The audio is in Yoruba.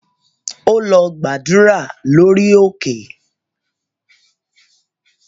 Ó lọ gbàdúrà lórí òkè